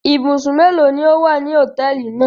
Ibùsùn mélòó ni ó wà ní hòtẹ́ẹ́lì náà?